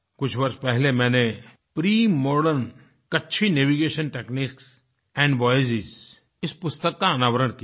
कुछ वर्ष पहले मैंने premodern Kutchi Kachchhi navigation techniques and voyages इस पुस्तक का अनावरण किया था